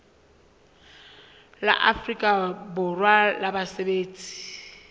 la afrika borwa la basebetsi